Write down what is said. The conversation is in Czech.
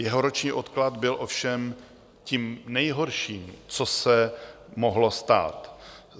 Jeho roční odklad byl ovšem tím nejhorším, co se mohlo stát.